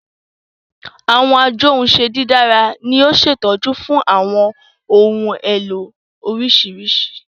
Awọn ajohunše didara ni a ṣetọju fun awọn ohun elo oriṣiriṣi